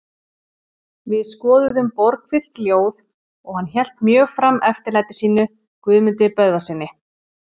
Við skoðuðum Borgfirsk ljóð og hann hélt mjög fram eftirlæti sínu Guðmundi Böðvarssyni.